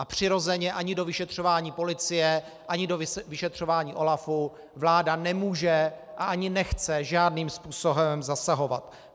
A přirozeně ani do vyšetřování policie ani do vyšetřování OLAFu vláda nemůže a ani nechce žádným způsobem zasahovat.